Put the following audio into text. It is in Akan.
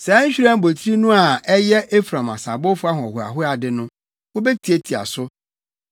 Saa nhwiren abotiri no a ɛyɛ Efraim asabowfo ahohoahoade no, wobetiatia so.